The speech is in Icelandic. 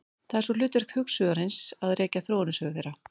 Það er svo hlutverk hugsuðarins að rekja þróunarsögu þeirra.